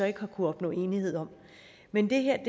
ikke har kunnet opnå enighed om men det her